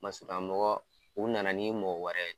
Masurunnakmɔgɔ u nana ni mɔgɔ wɛrɛ ye.